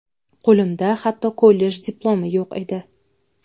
Qo‘limda hatto kollej diplomi yo‘q edi.